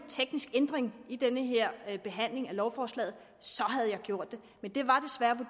teknisk ændring i den her behandling af lovforslaget så havde jeg gjort